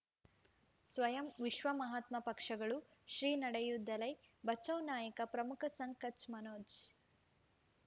ಸ್ವಯಂ ವಿಶ್ವ ಮಹಾತ್ಮ ಪಕ್ಷಗಳು ಶ್ರೀ ನಡೆಯೂ ದಲೈ ಬಚೌ ನಾಯಕ ಪ್ರಮುಖ ಸಂಘ ಕಚ್ ಮನೋಜ್